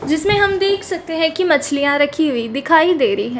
जिसमें हम देख सकते है कि मछलियां रखी हुई दिखाई दे रही है।